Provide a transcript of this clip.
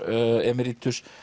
emeritus